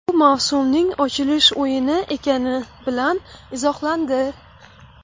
Bu mavsumning ochilish o‘yini ekani bilan izohlandi.